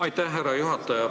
Aitäh, härra juhataja!